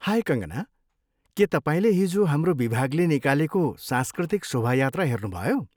हाय कङ्कना! के तपाईँले हिजो हाम्रो विभागले निकालेको सांस्कृतिक शोभायात्रा हेर्नुभयो?